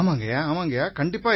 நிதேஷ் குப்தா ஆமாங்கய்யா